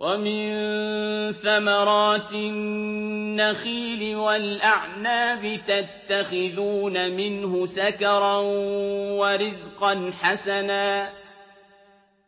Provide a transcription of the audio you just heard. وَمِن ثَمَرَاتِ النَّخِيلِ وَالْأَعْنَابِ تَتَّخِذُونَ مِنْهُ سَكَرًا وَرِزْقًا حَسَنًا ۗ